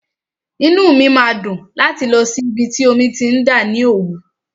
Inú mi máa dùn láti lọ sí ibi tí omi ti ń dà ní Òwú.